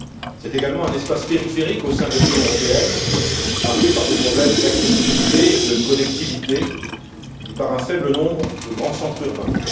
C'est également un espace périphérique au sein de l'Union européenne marqué par des problèmes d'accessibilité et de connectivité et par un faible nombre de grands centres urbains.